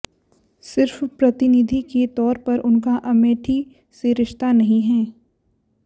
सिर्फ प्रतिनिधि के तौर पर उनका अमेठी से रिश्ता नहीं है